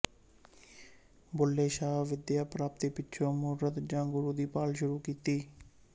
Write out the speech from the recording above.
ਬੁੱਲ੍ਹੇ ਸ਼ਾਹ ਵਿੱਦਿਆ ਪ੍ਰਾਪਤੀ ਪਿੱਛੋਂ ਮੁਰਸ਼ਦ ਜਾਂ ਗੁਰੂ ਦੀ ਭਾਲ ਸ਼ੁਰੂ ਕੀਤੀ